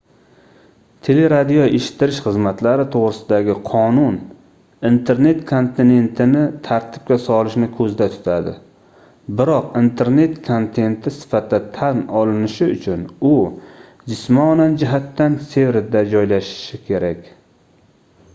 teleradioeshittirish xizmatlari toʻgʻrisidagi qonun internet kontentini tartibga solishni koʻzda tutadi biroq internet kontenti sifatida tan olinishi uchun u jismonan jihatdan serverda joylashishi kerak